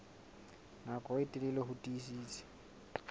nako e telele ho tiisitse